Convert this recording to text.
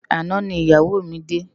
Àná ni iyáwó mi dé